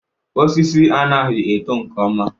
Osisi anaghị eto nke ọma.